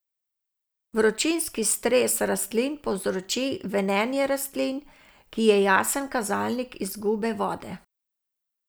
Vročinski stres rastlin povzroči venenje rastlin, ki je jasen kazalnik izgube vode.